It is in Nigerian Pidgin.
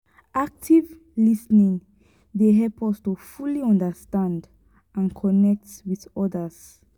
active lis ten ing dey help us to fully understand and connect with odas.